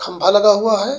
खंभा लगा हुआ है।